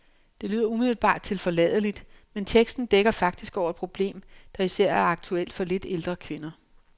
Det lyder umiddelbart tilforladeligt, men teksten dækker faktisk over et problem, der især er aktuelt for lidt ældre kvinder.